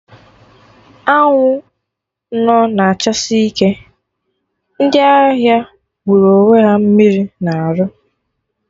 Anwụ nọ na-achasi ike, ndị ahịa wụrụ onwe ha mmiri na-arụ